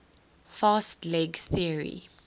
fast leg theory